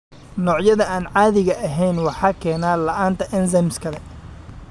Noocyada aan caadiga ahayn waxaa keena la'aanta enzymes kale.